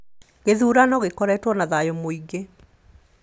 Gĩthurano gĩkoretwo na thayũ mũingĩ